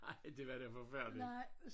Ej det var da forfærdeligt